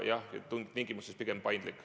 Jah, tingimuste poolest on see pigem paindlik.